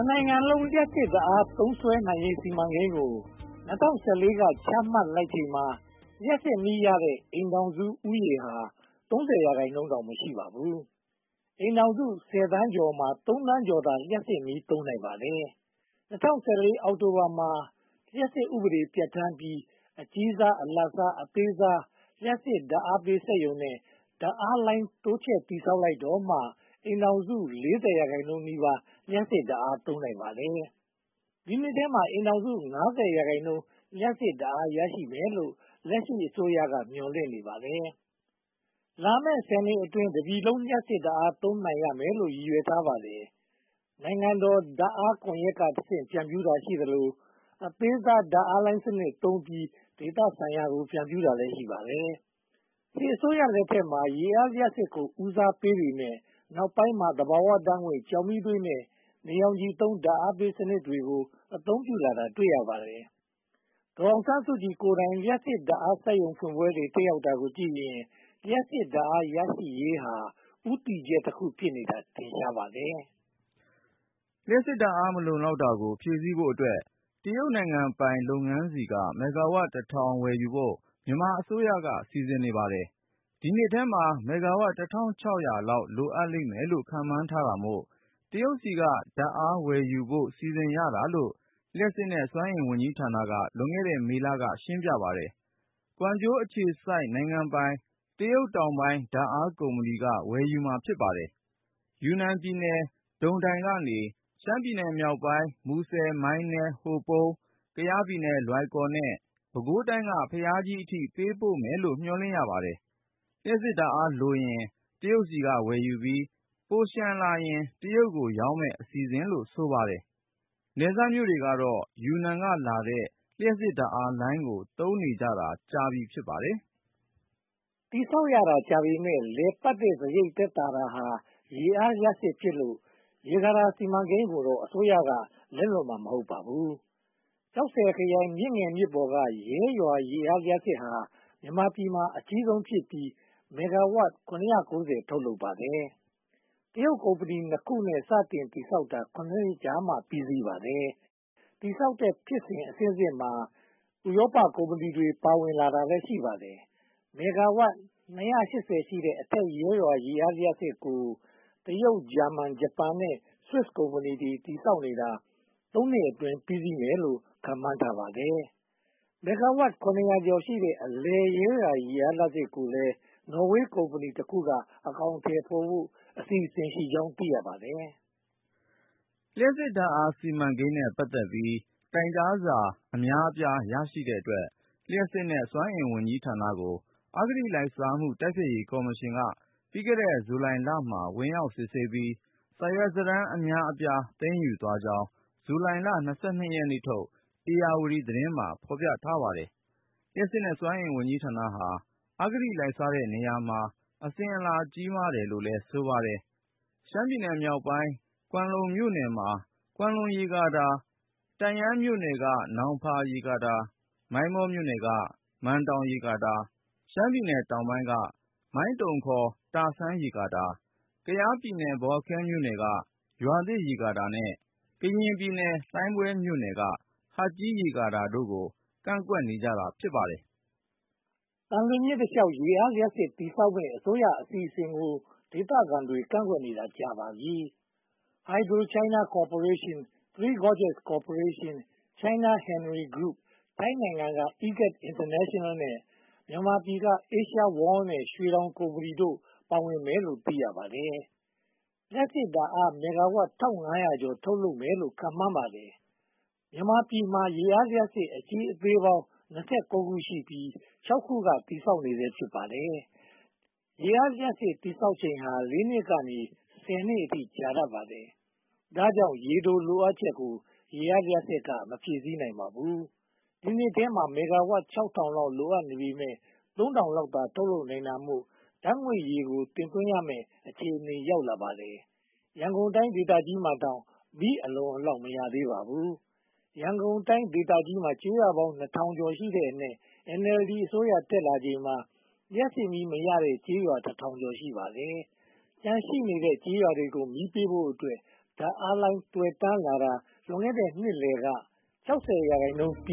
နိုင်ငံလုံး လျှပ်စစ်ဓါတ်အား သုံးစွဲနိုင်ရေးစီမံကိန်းကို (၂၀၁၄) က ချမှတ်လိုက်ချိန်မှာ လျှပ်စစ်မီးရတဲ့ အိမ်ထောင်စုဦးရေဟာ (၃၀) ရာခိုင်နှုန်းတောင် မရှိပါဘူး။ အိမ်ထောင်စု (၁၀) သန်းကျော်မှာ (၃) သန်းကျော်သာ လျှပ်စစ်မီးသုံးနိုင်ပါတယ်။ (၂၀၁၄) အောက်တိုဘာလမှာ လျှပ်စစ်ဥပဒေ ပြဌာန်းပြီး အကြီးစား၊ အလတ်စား၊ အသေးစား လျှပ်စစ်ဓါတ်အားပေးစက်ရုံနဲ့ ဓါတ်အားလိုင်း တိုးချဲ့ဆောက်လုပ်လိုက်တော့မှ အိမ်ထောင်စု (၄၀)% နီးပါး လျှပ်စစ်ဓါတ်အား သုံးနိုင်ပါတယ်။ ဒီနှစ်ထဲမှာ အိမ်ထောင်စု (၅၀)% လျှပ်စစ်ဓါတ်အား ရရှိနိုင်မယ်လို့ လက်ရှိအစိုးရက မျှော်လင့်ထားပါတယ်။ လာမယ့် (၁၀) နှစ်အတွင်း တပြည်လုံးလျှပ်စစ်ဓါတ်အား သုံးနိုင်မယ်လို့ ရည်ရွယ်ထားပါတယ်။ နိုင်ငံတော်ဓါတ်အားကွန်ရက်ကဆင့် ဖြန့်ဖြူးတာရှိသလို၊ အသေးစားဓါတ်အားလိုင်း စနစ်သုံးပြီး ဒေသဆိုင်ရာကို ဖြန့်ဖြူးတာလည်း ရှိပါတယ်။ စစ်အစိုးရလက်ထက်မှာ ရေအားလျှပ်စစ်ကို ဦးစားပေးပေမယ့် နောက်ပိုင်းမှာ သဘာဝဓါတ်ငွေ့၊ ကျောက်မီးသွေးနဲ့ နေရောင်ခြည်သုံး ဓါတ်အားပေးစနစ်တွေကို အသုံးပြုလာတာ တွေ့ရပါတယ်။ ဒေါ်အောင်ဆန်းစုကြည်ကိုယ်တိုင် လျှပ်စစ်ဓါတ်အားပေး စက်ရုံဖွင့်ပွဲတွေ တက်ရောက်တာကိုကြည့်ရင် လျှပ်စစ်ဓါတ်အားရရှိရေးဟာ ဦးတည်ချက်တခု ဖြစ်နေတာ ထင်ရှားပါတယ်။ လျှပ်စစ်ဓါတ်အား မလုံလောက်တာကို ဖြည့်ဆည်းဖို့အတွက် တရုတ်နိုင်ငံပိုင်လုပ်ငန်းဆီက မဂ္ဂါဝပ် (၁၀၀၀) ဝယ်ယူဖို့ မြန်မာအစိုးရက စီစဉ်နေပါတယ်။ ဒီနှစ်ထဲမှာ မဂ္ဂါဝပ် (၁၆၀၀) လောက် လိုအပ်လိမ့်မယ်လို့ ခန့်မှန်းတာမို့ တရုတ်ဆီက ဓါတ်အားဝယ်ယူဖို့ စီစဉ်ရတာလို့ လျှပ်စစ်နဲ့ စွမ်းအင်ဝန်ကြီးဌာနက လွန်ခဲ့တဲ့ မေလက ပြောပါတယ်။ ကွမ်ကျိုးအခြေစိုက် နိုင်ငံပိုင် China Southern Power Grid က ဝယ်ယူမှာ ဖြစ်ပါတယ်။ ယူနန်ပြည်နယ် ဒုန်ဒိုင်ကနေ ရှမ်းပြည်နယ်မြောက်ပိုင်း မူဆယ်၊ မိုင်းနဲ၊ ဟိုပုန်း၊ ကယားပြည်နယ် လွိုင်ကော်နဲ့ ပဲခူးတိုင်းက ဘုရားကြီးအထိ ပေးပို့မယ်လို့ မျှော်လင့်ရပါတယ်။ လျှပ်စစ်ဓါတ်အားလိုရင် တရုတ်ဆီက ဝယ်ယူပြီး ပိုလျှံလာရင် တရုတ်ကိုရောင်းမယ့် အစီအစဉ်လို ဆိုပါတယ်။ နယ်စပ်မြို့တွေကတော့ ယူနန်ကလာတဲ့ လျှပ်စစ်ဓါတ်အားလိုင်းကို သုံးနေကြတာကြာပြီ ဖြစ်ပါတယ်။ တည်ဆောက်ရတာကြာပေမယ့် လည်ပတ်တဲ့စရိတ် သက်သာတာဟာ ရေအားလျှပ်စစ်ဖြစ်လို့ ရေကာတာစီမံကိန်းကိုတော့ အစိုးရက လက်လွှတ်မှာ မဟုတ်ပါဘူး။ ကျောက်ဆည်ခရိုင် မြစ်ငယ်မြစ်ပေါ်က ရဲရွာရေအားလျှပ်စစ်ဟာ မြန်မာပြည်မှာ အကြီးဆုံးဖြစ်ပြီး မဂ္ဂါဝပ် (၇၉၀) ထုတ်လုပ်ပါတယ်။ တရုတ်ကုမ္ပဏီနှစ်ခုနဲ့ စတင်တည်ဆောက်တာ (၇) နှစ်ကြာမှ ပြီးစီးပါတယ်။ တည်ဆောက်တဲ့ဖြစ်စဉ် အဆင့်ဆင့်မှာ ဥရောပကုမ္ပဏီတွေ ပါဝင်လာတာလည်း ရှိပါတယ်။ မဂ္ဂါဝပ် (၂၈၀) ရှိတဲ့ အထက်ရဲရွာ ရေအားလျှပ်စစ်ကို တရုတ်၊ ဂျာမန်၊ ဂျပန်နဲ့ ဆွစ်ကုမ္ပဏီတွေက တည်ဆောက်နေတာ သုံးနှစ်အတွင်း ပြီးစီးမယ်လို့ ခန့်မှန်းထားပါတယ်။ မဂ္ဂါဝပ် (၇၀၀) ကျော်ရှိတဲ့ အလယ်ရဲရွာရေအား လျှပ်စစ်ကိုလည်း နော်ဝေးကုမ္ပဏီတခုနဲ့ အကောင်အထည်ဖော်ဖို့ အစီအစဉ်ရှိကြောင်း သိရပါတယ်။ လျှပ်စစ်ဓါတ်အားစီမံကိန်းနဲ့ ပတ်သက်ပြီး တိုင်ကြားစာအများအပြား ရရှိတဲ့အတွက် လျှပ်စစ်နဲ့ စွမ်းအင်ဝန်ကြီးဌာနကို အဂတိလိုက်စားမှု တိုက်ဖျက်ရေးကော်မရှင်က လွန်ခဲ့တဲ့ ဇူလိုင်လမှာ ဝင်ရောက်စစ်ဆေးပြီး စာရွက်စာတမ်းအများအပြား သိမ်းယူသွားကြောင်း ဇူလိုင်လ (၂၂) ရက်နေ့ထုတ် ဧရာဝတီသတင်းမှာ ဖော်ပြထားပါတယ်။ လျှပ်စစ်နဲ့ စွမ်းအင်ဝန်ကြီးဌာနဟာ အဂတိလိုက်စားတဲ့နေရာမှာ အစဉ်အလာကြီးမားတယ်လို့လည်း ဆိုပါတယ်။ ရှမ်းပြည်နယ်မြောက်ပိုင်း ကွမ်းလုံမြို့နယ်မှာ ကွမ်းလုံရေကာတာ၊ တန့်ယန်းမြို့နယ်က နောင်ဖာရေကာတာ၊ မိုင်းမောမြို့နယ်က မန်တောင်ရေကာတာ၊ ရှမ်းပြည်နယ်တောင်ပိုင်းက မိုင်းတုံ (ခေါ်) တာဆန်းရေကာတာ၊ ကယားပြည်နယ် ဘော်လခဲမြို့နယ်က ရွာသစ်ရေကာတာနဲ့ ကရင်ပြည်နယ် လှိုင်းဘွဲ့မြို့နယ်က ဟတ်ကြီးရေကာတာတို့ကို ကန့်ကွက်နေကြပါတယ်။ သံလွင်မြစ်တလျှောက် ရေအားလျှပ်စစ်စက်ရုံ တည်ဆောက်မယ့် အစိုးရအစီအစဉ်ကို ဒေသခံတွေက ကန့်ကွက်နေတာ ကြာပါပြီ။ HydroChina Corporation, Three Gorges Corporation, China Henry Group နဲ့ ထိုင်းနိုင်ငံက EGAT International နဲ့ မြန်မာနိုင်ငံက Asia World နဲ့ ရွှေတောင်ကုမ္ပဏီတို့ ပါဝင်မယ်လို့ သိရှိရပါတယ်။ လျှပ်စစ်ဓါတ်အား မဂ္ဂါဝပ် (၁၅၀၀) ကျော် ထုတ်လုပ်မယ်လို့ ခန့်မှန်းထားပါတယ်။ မြန်မာပြည်မှာ ရေအားလျှပ်စစ်စက်ရုံ အကြီးအသေးပေါင်း (၂၉) ခုရှိပြီး (၆) ခုက တည်ဆောက်ဆဲ ဖြစ်ပါတယ်။ ရေအားလျှပ်စစ်စက်ရုံ တည်ဆောက်ချိန်ဟာ (၄) နှစ်ကနေ (၁၀) နှစ်အထိ ကြာတတ်ပါတယ်။ ဒါကြောင့် ရေတိုလိုအပ်ချက်ကို ရေအားလျှပ်စစ်က မဖြည့်ဆည်းနိုင်ပါဘူး။ ဒီနှစ်ထဲမှာ မဂ္ဂါဝပ် (၆၀၀၀) လောက် လိုအပ်နေပေမယ့် (၃၀၀၀) လောက်သာ ထုတ်လုပ်နိုင်တာမို့ ဓါတ်ငွေ့ရည်ကို တင်သွင်းရမယ့် အခြေအနေ ရောက်လာပါတယ်။ ရန်ကုန်တိုင်းဒေသကြီးမှာတောင် မီးအလုံအလောက် မရသေးပါဘူး။ ရန်ကုန်ဒေသကြီးမှာ ကျေးရွာပေါင်း (၂၀၀၀) ကျော်ရှိတဲ့အနက် NLD အစိုးရ တက်လာချိန်မှာ လျှပ်စစ်မီး မရသေးတဲ့ကျေးရွာ (၁၀၀၀) ကျော် ရှိပါတယ်။ ကျန်နေတဲ့ ကျေးရွာတွေကို လျှပ်စစ်မီး ပေးဖို့အတွက် ဓါတ်အားလိုင်း သွယ်တန်းလာတာ လွန်ခဲ့တဲ့ နှစ်လယ်က (၆၀) ရာခိုင်နှုန်း ပြ